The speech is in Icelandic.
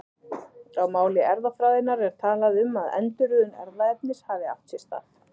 Á máli erfðafræðinnar er talað um að endurröðun erfðaefnis hafi átt sér stað.